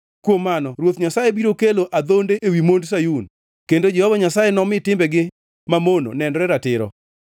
Kuom mano Ruoth Nyasaye biro kelo adhonde ewi mond Sayun, kendo Jehova Nyasaye nomi timbegi mamono nenre ratiro.”